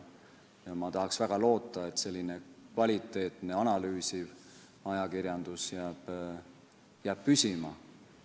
Ma tahaks väga loota, et kvaliteetne ja analüüsiv ajakirjandus jääb püsima.